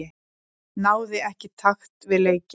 Náði ekki takt við leikinn.